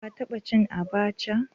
Ka taba cin abacha?